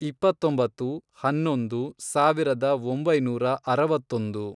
ಇಪ್ಪತ್ತೊಂಬತ್ತು, ಹನ್ನೊಂದು, ಸಾವಿರದ ಒಂಬೈನೂರ ಅರವತ್ತೊಂದು